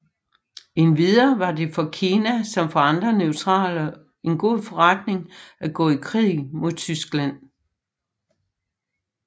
Endvidere var det for Kina som for andre neutrale en god forretning at gå i krig mod Tyskland